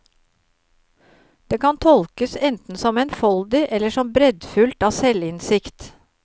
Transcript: Det kan tolkes enten som enfoldig eller som breddfullt av selvinnsikt.